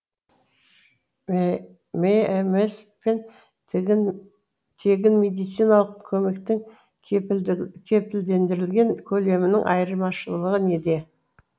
мәмс пен тегін медициналық көмектің кепілдендірілген көлемінің айырмашылығы неде